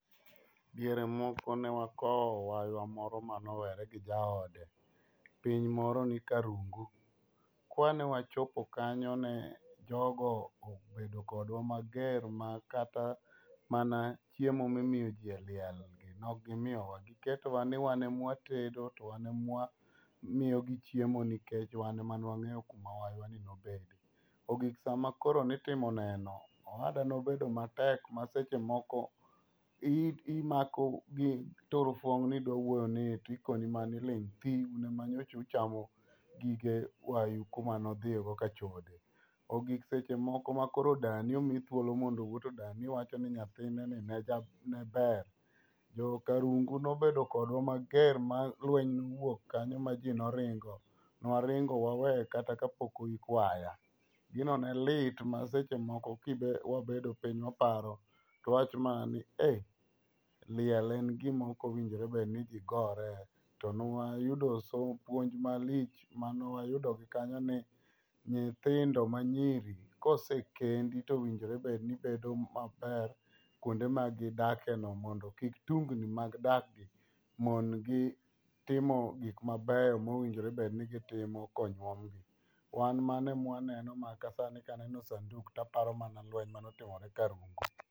Diere moko ne wakowo waywa moro manowere gi jaode. Piny moro ni karungu. Ka ne wachopo kanyo ne jogo obedo kodwa mager ma kata mana chiemo ma imoyo ji e liel ne ok gimiyowa. Giketowa ni wane ma watedo, to wan e ma wamiyo gi chiemo nikech wan ema ne wang'eyo kuma waywa ni nobede. Ogik sama koro nitimo neno. Owada ne obedo matek ma seche moko ii, imako gi turuphone ni idwa wuoyo to ikoni mana ni ling' thi, un ema nyocha uchamo gige waywu kuma nodhie go kachode. Ogik seche moko ma koro Dani omi thuolo ni mondo owuo, to dani wacho ni nyathine ni ne ne ber. Jo karungu ne obedo kodwa mager ma lweny nowuok kanyo ma ji noringo. Newaringo waweyo kata ka pok oik waya. Gino ne lit ma seche moko ka wabedo piny waparo to wawacho mana ni eei. liel en gim ok owinjore bed ni ji gore. To ne wayudo somo puonj malich manewayudo gi kanyo ni nyithindo manyiri kosekendi, to owinjore bedo ni bedo maber kwonde magidake no, mondo kik tungni mag dak gi, mon gi timo gik mabeyo mowinjore bed ni gitimo konyuomgi. Wan mano ema waneno, ma kasani kaneno sanduku to aparo mana lweny mane otimore Karungu.